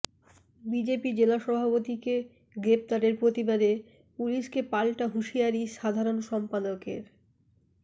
BJP জেলা সভাপতিকে গ্রেফতারের প্রতিবাদে পুলিশকে পাল্টা হুঁশিয়ারি সাধারণ সম্পাদকের